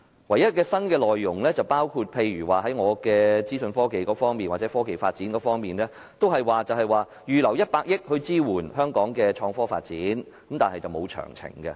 唯一的新內容是在我所屬的資訊科技界或科技發展方面，預留100億元支援香港的創科發展，但卻沒有提供詳情。